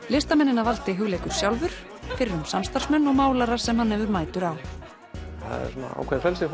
listamennina valdi Hugleikur sjálfur fyrrum samstarfsmenn og málarar sem hann hefur mætur á það er ákveðið frelsi